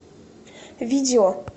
видео